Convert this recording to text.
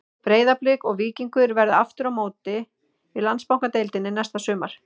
Breiðablik og Víkingur verða aftur á móti í Landsbankadeildinni næsta sumar.